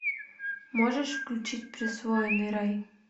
можешь включить присвоенный рай